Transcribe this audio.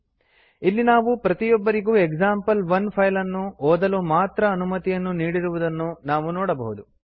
ಇಲ್ಲಿ ನಾವು ಪ್ರತಿಯೊಬ್ಬರಿಗೂ ಎಕ್ಸಾಂಪಲ್1 ಫೈಲ್ ಅನ್ನು ಓದಲು ಮಾತ್ರ ಅನುಮತಿಯನ್ನು ನೀಡಿರುವುದನ್ನು ನಾವು ನೋಡಬಹುದು